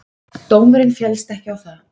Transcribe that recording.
Dómurinn féllst ekki á það.